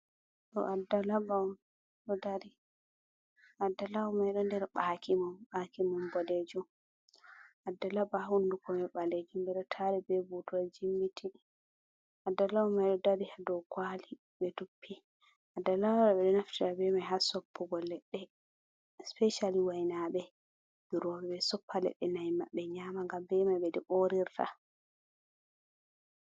Ɗo adda laɓa on ɗo dari, adda laɓa may ɗo nder ɓaake mum, ɓaake mum boɗeejum. Adda laɓa hunnduko may ɓaleejum, ɓe ɗo taari be buutol jimmiti, adda laɓa may ɗo dari haa dow kuwali ɓe duppi. Adda laɓa ɓe ɗo naftira be may, haa soppugo leɗɗe, sipaycali waynaaɓe durooɓe, ɓe soppa leɗɗe, na'i maɓɓe nyaama, ngam be may ɓe ɗo oorirta.